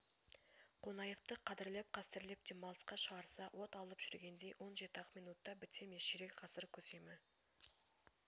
қонаевты қадырлеп-қастерлеп демалысқа шығарса от алып жүргендей он жеті-ақ минутта біте ме ширек ғасыр көсемі